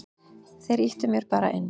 Þeir ýttu mér bara inn.